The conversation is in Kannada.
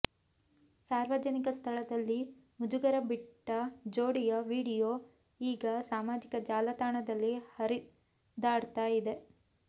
ಸಾರ್ವಜನಿಕ ಸ್ಥಳದಲ್ಲಿ ಮುಜುಗರ ಬಿಟ್ಟ ಜೋಡಿಯ ವಿಡಿಯೋ ಈಗ ಸಾಮಾಜಿಕ ಜಾಲತಾಣದಲ್ಲಿ ಹರಿದಾಡ್ತಾ ಇದೆ